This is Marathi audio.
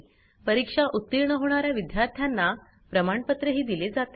परीक्षा उतीर्ण होणा या विद्यार्थ्यांना प्रमाणपत्रही दिले जाते